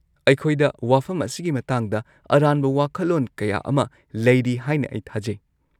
ꯑꯩꯈꯣꯏꯗ ꯋꯥꯐꯝ ꯑꯁꯤꯒꯤ ꯃꯇꯥꯡꯗ ꯑꯔꯥꯟꯕ ꯋꯥꯈꯜꯂꯣꯟ ꯀꯌꯥ ꯑꯃ ꯂꯩꯔꯤ ꯍꯥꯏꯅ ꯑꯩ ꯊꯥꯖꯩ꯫